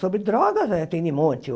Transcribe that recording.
Sobre drogas, eh tem de monte